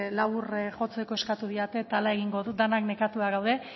labur jotzeko eskatu didate eta horrela egingo dut denak nekatuta gaude